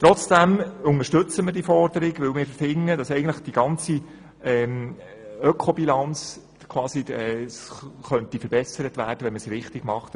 Trotzdem unterstützen wir die Forderung, weil wir finden, dass die Ökobilanz verbessert werden könnte, wenn man es richtig macht.